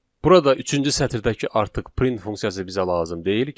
Burada üçüncü sətirdəki artıq print funksiyası bizə lazım deyil.